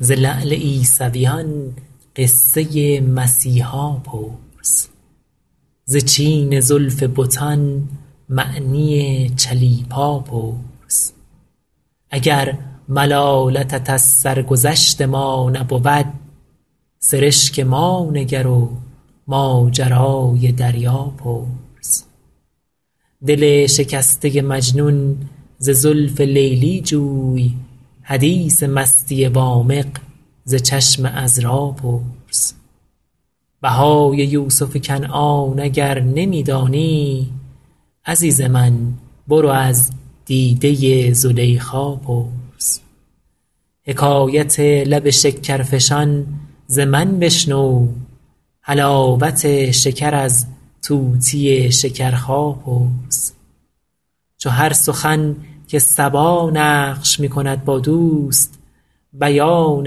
ز لعل عیسویان قصه مسیحا پرس ز چین زلف بتان معنی چلیپا پرس اگر ملامتت از سرگذشت ما نبود سرشک ما نگر و ماجرای دریا پرس دل شکسته مجنون ز زلف لیلی جوی حدیث مستی وامق ز چشم عذرا پرس بهای یوسف کنعان اگر نمی دانی عزیز من برو از دیده ی زلیخا پرس حکایت لب شکر فشان زمن بشنو حلاوت شکر از طوطی شکرخا پرس چو هر سخن که صبا نقش می کند با دوست بیان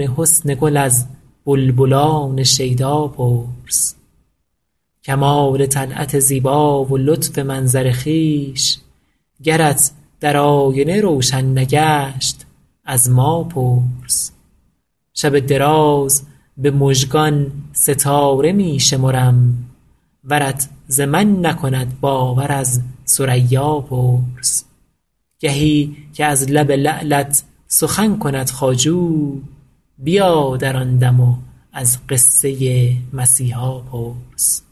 حسن گل از بلبلان شیدا پرس کمال طلعت زیبا و لطف منظر خویش گرت در آینه روشن نگشت از ما پرس شب دراز بمژگان ستاره می شمرم ورت زمن نکند باور از ثریا پرس گهی که از لب لعلت سخن کند خواجو بیا در آندم و از قصه مسیحا پرس